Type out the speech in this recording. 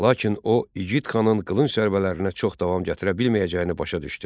Lakin o igid xanın qılınc zərbələrinə çox davam gətirə bilməyəcəyini başa düşdü.